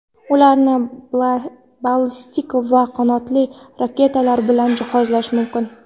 Ularni ballistik va qanotli raketalar bilan jihozlash mumkin.